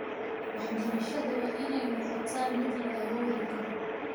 Waxbarashadu waa inay noqotaa mid la awoodi karo.